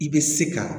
I bɛ se ka